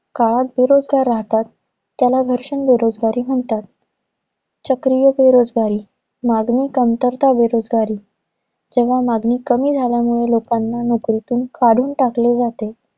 काळात बेरोजगार राहतात, त्याला घर्षण बेरोजगारी म्हणतात. चक्रीय बेरोजगारी. मागणी कमतरता बेरोजगारी. जेव्हा मागणी कमी झाल्यामुळे लोकांना नोकरीतून काढून टाकले जाते.